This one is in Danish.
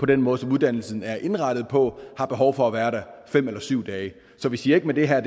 den måde som uddannelsen er indrettet på har behov for at være der fem eller syv dage så vi siger ikke med det her